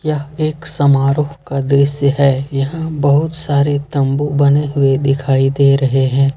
यह समारोह का दृश्य है यहां बहुत सारे तंबू बने हुए दिखाई दे रहे हैं।